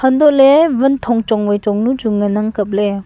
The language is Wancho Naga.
antoley van thong chong vai chong nu chu ngan ang kapley.